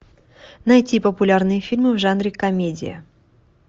найти популярные фильмы в жанре комедия